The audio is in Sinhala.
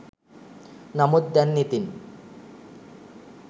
නමුත් දැන් ඉතින්